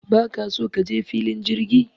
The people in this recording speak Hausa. Don't you want to go to the airport?